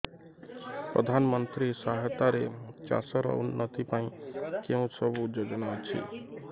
ପ୍ରଧାନମନ୍ତ୍ରୀ ସହାୟତା ରେ ଚାଷ ର ଉନ୍ନତି ପାଇଁ କେଉଁ ସବୁ ଯୋଜନା ଅଛି